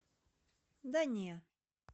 да не